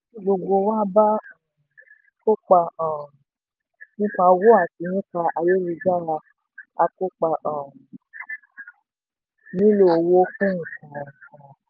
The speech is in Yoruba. tí gbogbo wá bá um kópa um nípa owó àti nípa ayélu-jára a kòoa um nílò owó fún ǹkan kan